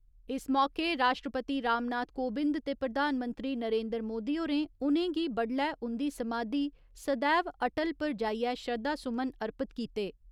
इस मौके राश्ट्रपति रामनाथ कोबिंद ते प्रधानमंत्री नरेन्द्र मोदी होरें उ'नेंगी बडलै उन्दी समाधी ' सदैव अटल ' पर जाइयै श्रद्धा सुमन अर्पित कीते।